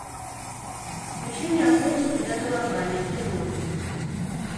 включи мне охотники за головами кино